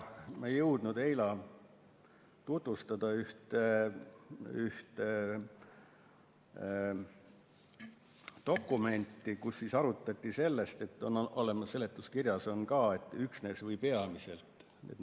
Ma ei jõudnud eile tutvustada ühte dokumenti, kus arutati probleemi, mis on ka seletuskirjas: märksõnad on "üksnes" ja "peamiselt".